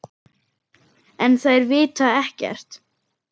En þær vita ekkert.